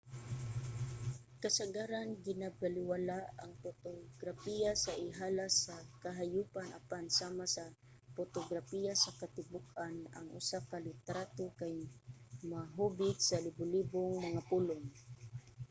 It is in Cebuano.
kasagaran ginabalewala ang potograpiya sa ihalas nga kahayopan apan sama sa potograpiya sa katibuk-an ang usa ka litrato kay mahubit sa libolibong mga pulong